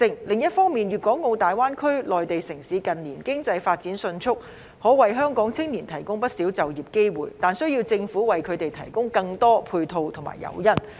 另一方面，粵港澳大灣區內地城市近年經濟發展迅速，可為香港青年提供不少就業機會，但需要政府為他們提供更多配套和誘因。